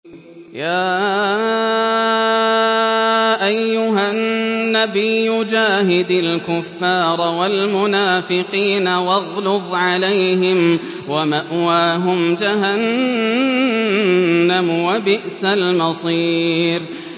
يَا أَيُّهَا النَّبِيُّ جَاهِدِ الْكُفَّارَ وَالْمُنَافِقِينَ وَاغْلُظْ عَلَيْهِمْ ۚ وَمَأْوَاهُمْ جَهَنَّمُ ۖ وَبِئْسَ الْمَصِيرُ